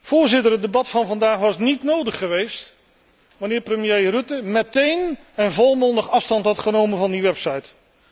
Voorzitter, het debat van vandaag was niet nodig geweest wanneer premier Rutte meteen en volmondig afstand had genomen van die website.